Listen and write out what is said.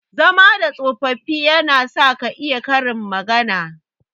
Zama da tsofaffi yana sa ka iya Karin magana.